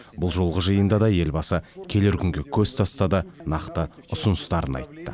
бұл жолғы жиында да елбасы келер күнге көз тастады нақты ұсыныстарын айтты